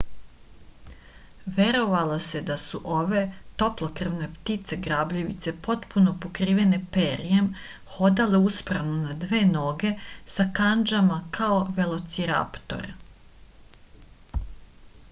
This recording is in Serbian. verovalo se da su ove toplokrvne ptice grabljivice potpuno pokrivene perjem hodale uspravno na dve noge sa kandžama kao velociraptor